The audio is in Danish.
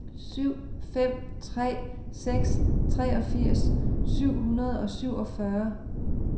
syv fem tre seks treogfirs syv hundrede og syvogfyrre